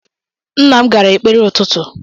Nna m gara ekpere ụtụtụ.